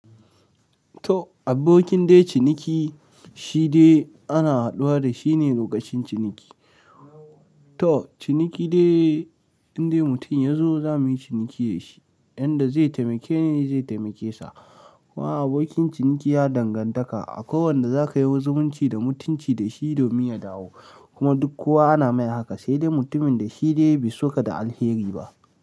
To abokin dai ciniki shi de ana haduwa da shi ne lokacin ciniki. Toh ciniki dai inde mutum yazo za muyi ciniki da shi. Yanda zai taimake ni zan taimake sa kuma abokin ciniki ya dangantaka a kowanne da za ka yi waziminci da mutunci da shi domin ya dawo. Kuma duk kowa ana mai haka sai dai mutumin da shi dai bai soka da alheri ba.